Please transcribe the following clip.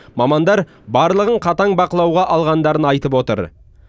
мамандар барлығын қатаң бақылауға алғандарын айтып отыр